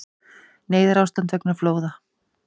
Neyðarástand vegna flóða